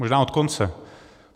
Možná od konce.